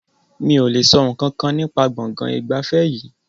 Mi o le sọ nkankan nípa gbọ̀ngàn ìgbafẹ́ yìí.